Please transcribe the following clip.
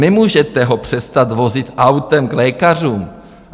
Nemůžete ho přestat vozit autem k lékařům.